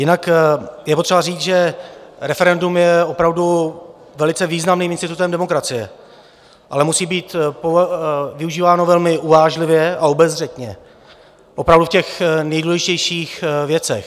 Jinak je potřeba říct, že referendum je opravdu velice významným institutem demokracie, ale musí být využíváno velmi uvážlivě a obezřetně, opravdu v těch nejdůležitějších věcech.